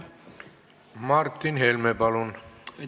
Martin Helme, palun!